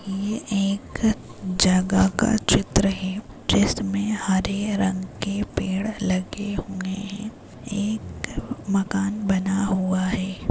ये एक जगह का चित्र है जिसमे हरे रंग के पेड़ लगे हुए है एक मकान बना हुआ है।